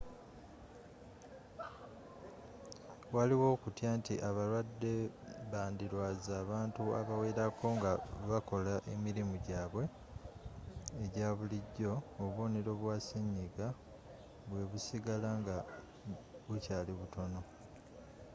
waliwo okutya nti abalwadde bandirwaza abantu abawerako nga bakola emirimu gyabwe egya bulijjo obubonero bwa senyiga bwe busigala nga bukyali butono